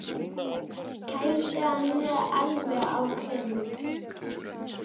Kældu hann alveg á grind.